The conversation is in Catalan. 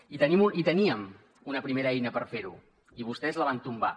i teníem una primera eina per fer ho i vostès la van tombar